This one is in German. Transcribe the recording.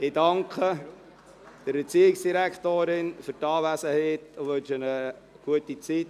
Ich danke der Erziehungsdirektorin für ihre Anwesenheit und wünsche ihr eine gute Zeit.